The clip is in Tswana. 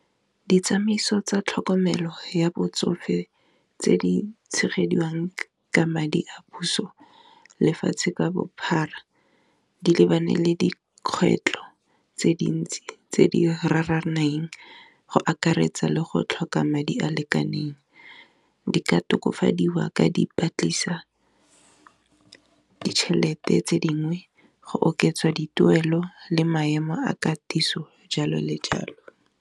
Ditsamaiso tsa tlhokomelo ya botsofe tse di tshegediwa ka madi a puso lefatshe ka bophara, di lebane le dikgwetlho tse dintsi tse di raraneng go akaretsa le go tlhoka madi a a lekaneng, di ka tokafadiwa ka dipatliso ka ditšhelete tse dingwe go oketsa dituelo le maemo a katiso jalo le jalo.